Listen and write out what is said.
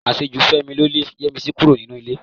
Àṣejù Fẹ́mi ló lé Yẹ́misí kúrò nínú ilé